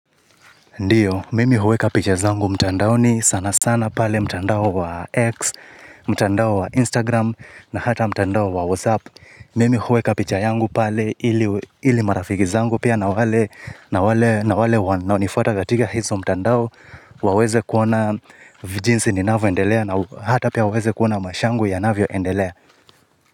Ndiyo, mimi huweka picha zangu mtandaoni sana sana pale mtandao wa X, mtandao wa Instagram na hata mtandao wa WhatsApp. Mimi huweka picha yangu pale ili, ili marafiki zangu pia na wale, na wale, na wale wanaonifuata katika hizo mtandao waweze kuona vijinsi ninavyoendelea na hata pia waweze kuona maisha yangu yanavyoendelea.